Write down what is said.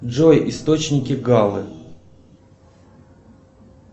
джой источники галы